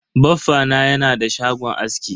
Baffa na yana da shagon aski.